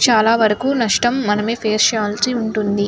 చాలా వరకు నష్టం మనమే పేస్ చేయాలిసి ఉంటుంది.